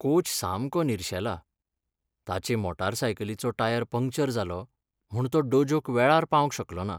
Coach सामको निर्शेला, ताचे मोटारसायकलीचो टायर पंक्चर जालो, म्हूण तो डोजोक वेळार पावंक शकलो ना.